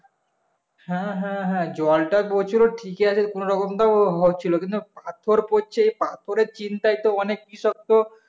হ্যাঁ হ্যাঁ হ্যাঁ জলটা পড়ছিলো ঠিকই আছে কোনোরকম তো হচ্ছিলো কিন্তু পাথর পড়ছে পাথরের চিন্তায় তো অনেক কৃষক তো